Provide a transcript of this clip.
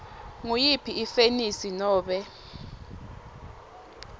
nguyiphi ifenisi nobe